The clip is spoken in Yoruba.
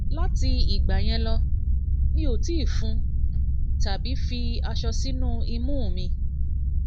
lati igba yen lo mi o ti fun tabi ti tabi fi aso sinu imu um mi